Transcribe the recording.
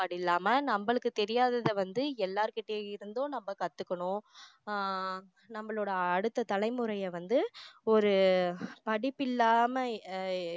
இல்லாம நம்மளுக்கு தெரியாததை வந்து எல்லாருக்கிட்ட இருந்தும் நம்ம கத்துக்கணும் ஆஹ் நம்மளோட அடுத்த தலைமுறைய வந்து ஒரு படிப்பில்லாம அஹ்